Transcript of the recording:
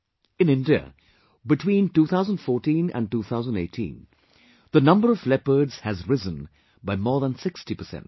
In India, between 2014 and 2018, the number of leopards has risen by more than 60 percent